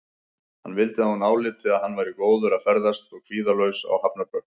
Hann vildi að hún áliti að hann væri góður að ferðast og kvíðalaus á hafnarbökkum.